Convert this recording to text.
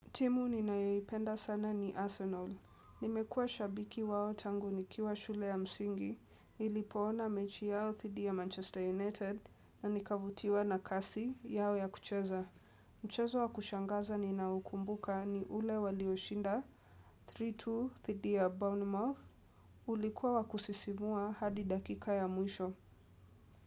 Timu ninayoipenda sana ni Arsenal. Nimekuwa shabiki wao tangu nikiwa shule ya msingi, nilipoona mechi yao dhiidi ya Manchester United, na nikavutiwa na kasi yao ya kucheza. Mchezo wa kushangaza ni na ukumbuka ni ule walioshinda, 3-2 thidi ya Bournemouth, ulikuwa wa kusisimua hadi dakika ya mwisho.